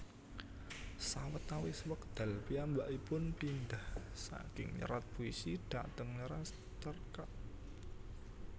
Sawetawis wekdal piyambakipun pindhah saking nyerat puisi dhateng nyerat cerkak